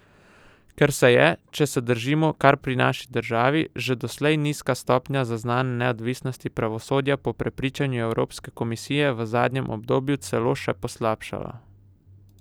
Ker se je, če se zadržimo kar pri naši državi, že doslej nizka stopnja zaznane neodvisnosti pravosodja po prepričanju Evropske komisije v zadnjem obdobju celo še poslabšala!